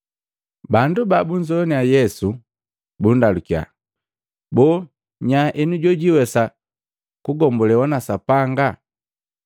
Bandu babunzogwannya Yesu bundalukiya, “Boo nya enu jojwiwesa kugombolewa na Sapanga?”